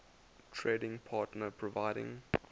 trading partner providing